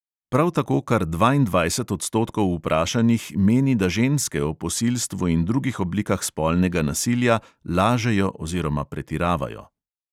Prav tako kar dvaindvajset odstotkov vprašanih meni, da ženske o posilstvu in drugih oblikah spolnega nasilja lažejo oziroma pretiravajo.